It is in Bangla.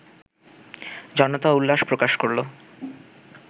জনতা উল্লাস প্রকাশ করলো